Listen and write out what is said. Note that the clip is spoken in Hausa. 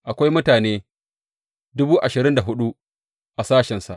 Akwai mutane dubu ashirin da hudu a sashensa.